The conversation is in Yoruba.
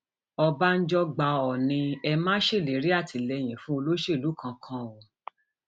ọbánjọ gba òòní ẹ ma ṣèlérí àtìlẹyìn fún olóṣèlú kankan o